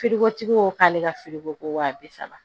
Firikotigi ko k'ale ka firiko ko wa bi saba